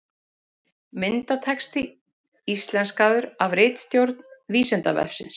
Myndatexti íslenskaður af ritstjórn Vísindavefsins.